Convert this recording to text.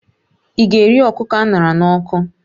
Ị ga-eri ọkụkọ a ṅara n'ọkụ?